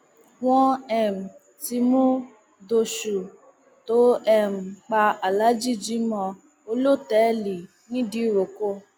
wọn um ti mú dóṣù tó um pa aláàjì jimoh olótẹẹlì nìdírókò